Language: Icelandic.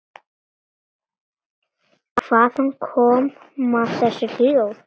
Hvaðan koma þessi hljóð?